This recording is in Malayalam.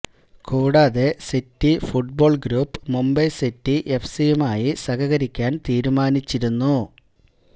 കൂടാതെ city football group Mumbai city എഫ്സിയുമായി സഹകരിക്കാൻ തീരുമാനിച്ചിരുന്നു